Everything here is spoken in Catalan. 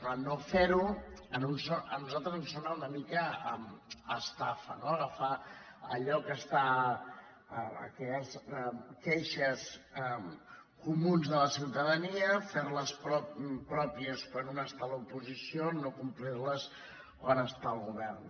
clar no fer ho a nosaltres ens sona una mica a estafa no agafar allò que són queixes comunes de la ciutadania fer les pròpies quan un està a l’oposició no complir les quan està al govern